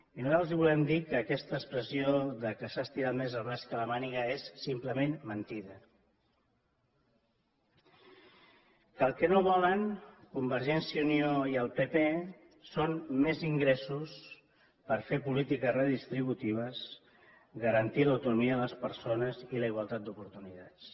i nosaltres els volem dir que aquesta expressió que s’ha estirat més el braç que la màniga és simplement mentida que el que no volen convergència i unió i el pp són més ingressos per fer polítiques redistributives garantir l’autonomia de les persones i la igualtat d’oportunitats